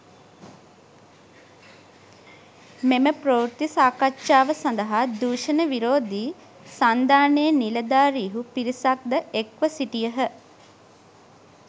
මෙම ප්‍රවෘත්ති සාකච්ඡාව සඳහා දූෂණ විරෝධී සන්ධානයේ නිලධාරීහු පිරිසක්‌ ද එක්‌ව සිටියහ.